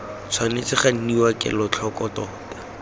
tshwanetse ga nniwa kelotlhoko tota